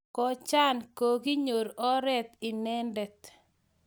Kojan kokinyor oret inendet